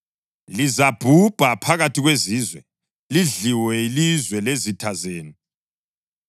Lizabhubha phakathi kwezizwe, lidliwe yilizwe lezitha zenu.